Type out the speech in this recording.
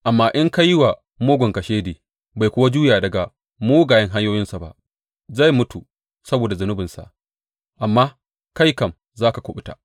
Amma in ka yi wa mugun kashedi bai kuwa juya daga mugayen hanyoyinsa ba, zai mutu saboda zunubinsa; amma kai kam za ka kuɓuta.